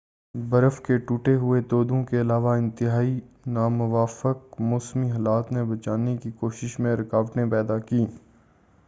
برف کے ٹوٹے ہوئے تودوں کے علاوہ انتہائی ناموافق موسمی حالات نے بچانے کی کوششوں میں رکاوٹیں پیدا کی ہیں